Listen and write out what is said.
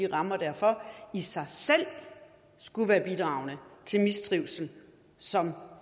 rammer derfor i sig selv skulle være bidragende til mistrivsel som